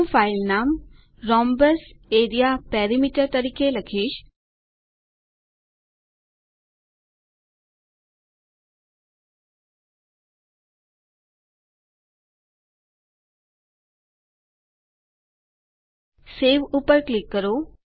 હું ફાઈલનામ rhombus area perimeter તરીકે લખીશ સવે પર ક્લિક કરો